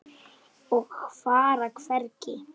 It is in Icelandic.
Og fara hvergi.